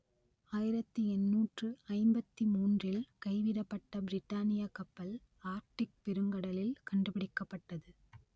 ஆயிரத்து எண்ணூற்று ஐம்பத்தி மூன்றில் கைவிடப்பட்ட பிரிட்டானியக் கப்பல் ஆர்க்டிக் பெருங்கடலில் கண்டுபிடிக்கப்பட்டது